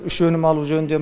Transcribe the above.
үш өнім алу жөнінде